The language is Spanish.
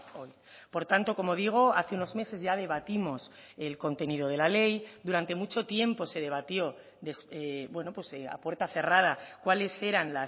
hoy por tanto como digo hace unos meses ya debatimos el contenido de la ley durante mucho tiempo se debatió a puerta cerrada cuáles eran